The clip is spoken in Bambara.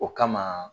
O kama